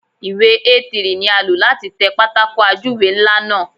Ìwé A3 ni a lò láti tẹ pátákó ajúwe ńlá náà.